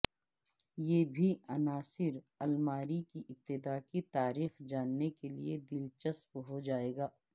یہ بھی عناصر الماری کی ابتدا کی تاریخ جاننے کے لئے دلچسپ ہو جائے گا